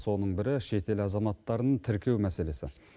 соның бірі шетел азаматтарын тіркеу мәселесі